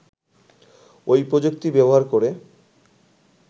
ওই প্রযুক্তি ব্যবহার করে